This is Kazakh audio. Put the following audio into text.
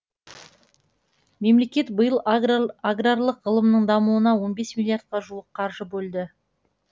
мемлекет биыл аграрлық ғылымның дамуына он бес миллиардқа жуық қаржы бөлді